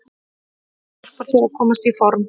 Það hjálpar þér að komast í form.